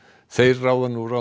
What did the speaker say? þeir ráða nú ráðum